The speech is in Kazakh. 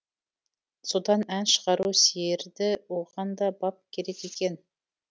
содан ән шығару сиерді оған да бап керек екен